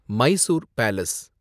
Mysore palace